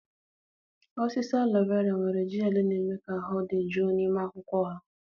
. Osisi aloe vera nwere gel na-eme ka ahụ dị jụụ n'ime akwụkwọ ha.